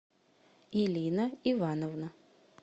элина ивановна